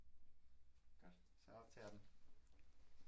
Godt så optager den